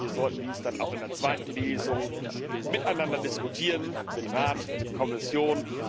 Wir sollten dies dann auch in der zweiten Lesung miteinander diskutieren, mit Rat und Kommission.